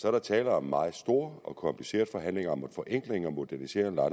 er der tale om meget store og komplicerede forhandlinger om en forenkling og modernisering af